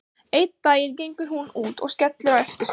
Einn daginn gengur hún út og skellir á eftir sér.